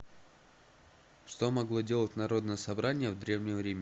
что могло делать народное собрание в древнем риме